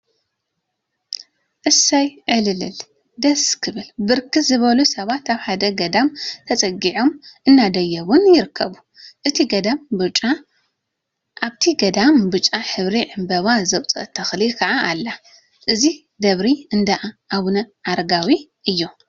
እስይ! ዕል! ልል!… ደስ! ክብል ብርክት ዝበሉ ሰባት አብ ሓደ ገዳም ተፀጊዖምን አናደየቡን ይርከቡ፡፡ አብቲ ገዳም ብጫ ሕብሪ ዕምበባ ዘውፀአት ተክሊ ከዓ አላ፡፡ እዚ ደብሪ እንዳአቡነ አረጋዊ እዩ፡፡